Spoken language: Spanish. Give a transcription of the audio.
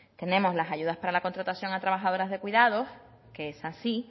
tenemos las ayudas para la contratación a trabajadoras de cuidados que esas sí